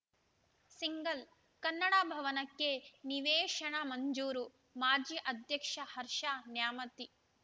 single Kannada ಭವನಕ್ಕೆ ನಿವೇಶನ ಮಂಜೂರು ಮಾಜಿ ಅಧ್ಯಕ್ಷ ಹರ್ಷ ನ್ಯಾಮತಿ